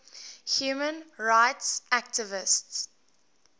human rights activists